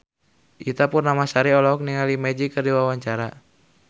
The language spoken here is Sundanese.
Ita Purnamasari olohok ningali Magic keur diwawancara